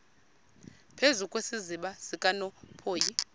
phezu kwesiziba sikanophoyi